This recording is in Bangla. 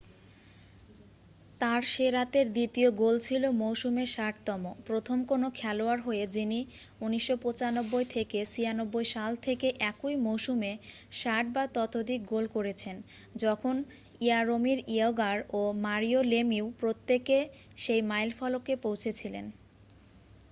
তার সে রাতের দ্বিতীয় গোল ছিল মৌসুমের 60তম প্রথম কোন খেলোয়াড় হয়ে যিনি 1995-96 সাল থেকে একই মৌসুমে 60 বা ততোধিক গোল করেছেন যখন ইয়ারোমির ইয়াগোর ও মারিও লেমিউ প্রত্যেকে সেই মাইলফলকে পৌঁছেছিলেন